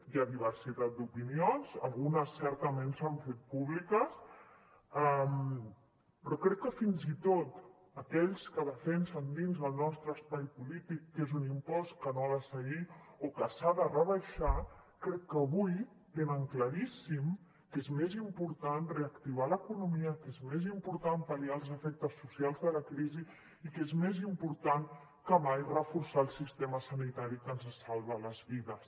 hi ha diversitat d’opinions algunes certament s’han fet públiques però crec que fins i tot aquells que defensen dins el nostre espai polític que és un impost que no ha de seguir o que s’ha de rebaixar crec que avui tenen claríssim que és més important reactivar l’economia que és més important pal·liar els efectes socials de la crisi i que és més important que mai reforçar el sistema sanitari que ens salva les vides